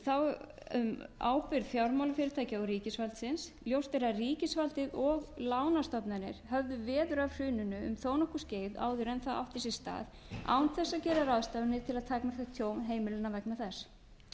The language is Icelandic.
tíma þá um ábyrgð fjármálafyrirtækja og ríkisvaldsins ljóst er að ríkisvaldið og lánastofnanir höfðu veður af hruninu um þó nokkurt skeið áður en það átti sér stað án þess að gera ráðstafanir til að takmarka tjón heimila vegna þess auk